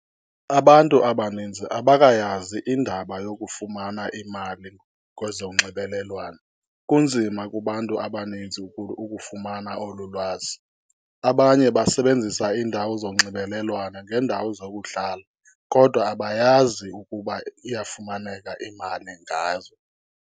Abantu abaninzi abakayazi indaba yokufumana imali kwezonxibelelwano, kunzima kubantu abaninzi ukufumana olu lwazi. Abanye basebenzisa iindawo zonxibelelwano ngeendawo zokudlala, kodwa abayazi ukuba iyafumaneka imali ngazo.